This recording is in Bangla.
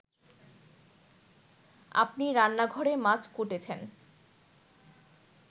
আপনি রান্নাঘরে মাছ কুটেছেন